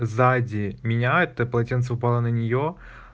сзади меня это полотенце упало на нее